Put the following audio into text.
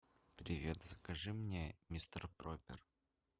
привет закажи мне мистер пропер